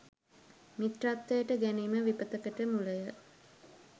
මිත්‍රත්වයට ගැනීම විපතකට මුලය.